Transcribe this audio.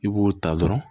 I b'o ta dɔrɔn